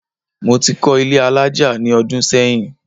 Mo ti kọ́ ilé alájà ní ọdún sẹ́yìn